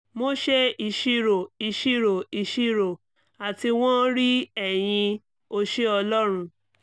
mo ṣe iṣiro iṣiro iṣiro ati wọn rii ẹyin o ṣeun ọlọrun